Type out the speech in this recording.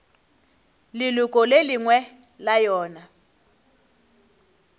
leloko le lengwe la yona